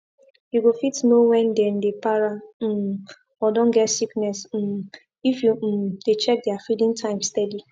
you go fit know when then dey para um or don get sickness um if you um dey check their feeding time steady